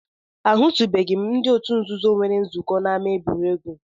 Ahụtụbeghị m ebe ndị otu nzuzo nwere nzukọ n'ámá egwuregwu